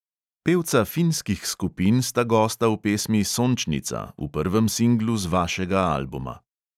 Pevca finskih skupin sta gosta v pesmi sončnica, v prvem singlu z vašega albuma.